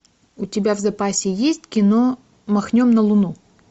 у тебя в запасе есть кино махнем на луну